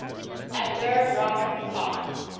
abdur rahman khan